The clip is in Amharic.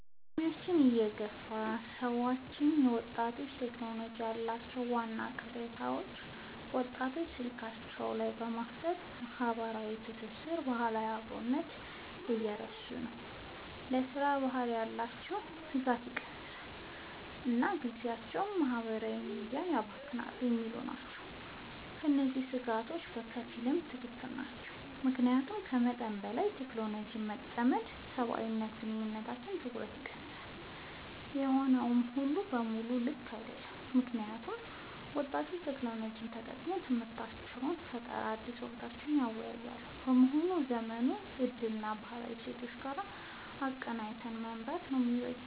በዕድሜ የገፉ ሰዎች ስለ ወጣቶችና ቴክኖሎጂ ያላቸው ዋና ቅሬታዎች፦ ወጣቶች ስልካቸው ላይ በማፍጠጥ ማህበራዊ ትስስርንና ባህላዊ አብሮነትን እየረሱ ነው: ለሥራ ባህል ያላቸው ትጋት ቀንሷል: እና ጊዜያቸውን በማህበራዊ ሚዲያ ያባክናሉ የሚሉ ናቸው። እነዚህ ስጋቶች በከፊል ትክክል ናቸው። ምክንያቱም ከመጠን በላይ በቴክኖሎጂ መጠመድ ሰብአዊ ግንኙነቶችንና ትኩረትን ይቀንሳል። ሆኖም ሙሉ በሙሉ ልክ አይደሉም: ምክንያቱም ወጣቶች ቴክኖሎጂን ተጠቅመው ለትምህርታቸው: ለስራ ፈጠራና ለአዳዲስ እውቀቶች እያዋሉት በመሆኑ የዘመኑን እድል ከባህላዊ እሴቶች ጋር አቀናጅቶ መምራት ነው የሚበጀው።